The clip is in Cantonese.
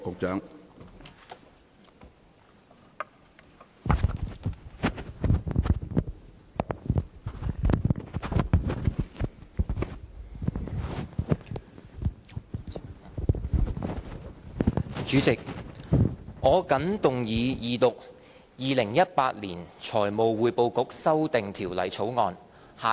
主席，我謹動議二讀《2018年財務匯報局條例草案》。